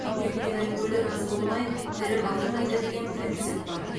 өйткені өлі разы болмай тірі байымайды деген принцип бар